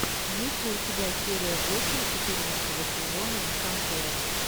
есть ли у тебя серия восемь четырнадцатого сезона десантура